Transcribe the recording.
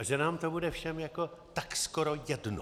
A že nám to bude všem jako tak skoro jedno.